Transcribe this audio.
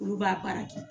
Olu b'a baara kɛ